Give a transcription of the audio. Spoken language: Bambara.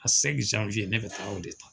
ne bɛ taa o de ta.